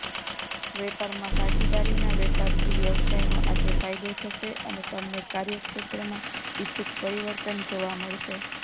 વેપારમાં ભાગીદારીના વેપારથી વ્યવસાયનો આજે ફાયદો થશે અને તમને કાર્યક્ષેત્રમાં ઈચ્છિત પરિવર્તન જોવા મળશે